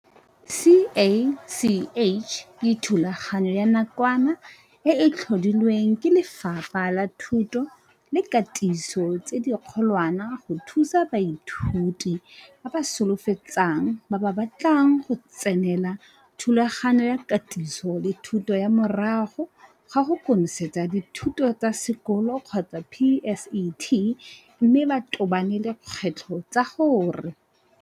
CACH ke thulaganyo ya nakwana e e tlhodilwe ke Lefapha la Thuto le Katiso tse di Kgolwane go thusa baithuti ba ba solofetsang ba ba batlang go tsenela Thulaganyo ya Katiso le Thuto ya Morago ga go Konosetsa Dithuto tsa Sekolo PSET mme ba tobane le dikgwetlho tsa gore.